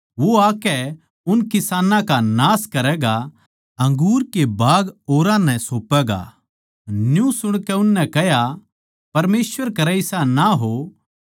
वो आकै उन किसानां का नाश करैगा अंगूर के बाग औरां नै सोपैगा न्यू सुणकै उननै कह्या परमेसवर करै इसा ना हो